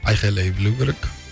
айқайлай білу керек